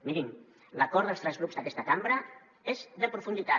mirin l’acord dels tres grups d’aquesta cambra és de profunditat